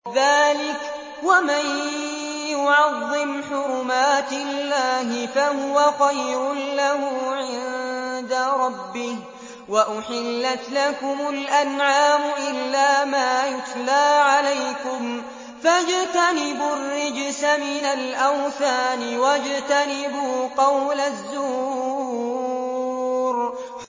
ذَٰلِكَ وَمَن يُعَظِّمْ حُرُمَاتِ اللَّهِ فَهُوَ خَيْرٌ لَّهُ عِندَ رَبِّهِ ۗ وَأُحِلَّتْ لَكُمُ الْأَنْعَامُ إِلَّا مَا يُتْلَىٰ عَلَيْكُمْ ۖ فَاجْتَنِبُوا الرِّجْسَ مِنَ الْأَوْثَانِ وَاجْتَنِبُوا قَوْلَ الزُّورِ